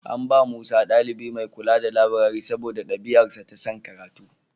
An bawa Musa ɗalibi mai kula da labirari saboda ɗabi'arsa ta son karatu.